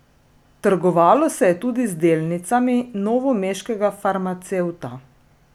Trgovalo se je tudi z delnicami novomeškega farmacevta.